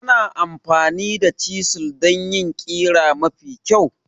Ana amfani da chisels don yin ƙira mafi kyau.